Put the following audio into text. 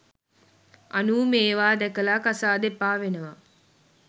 අනූ මේවා දැකලා කසාද එපා වෙනවා